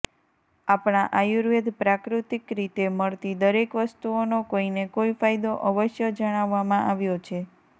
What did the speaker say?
આપણા આયુર્વેદ પ્રાકૃતિક રીતે મળતી દરેક વસ્તુઓનો કોઈને કોઈ ફાયદો અવશ્ય જણાવવામાં આવ્યો છે